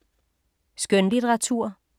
Skønlitteratur